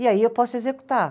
E aí eu posso executar.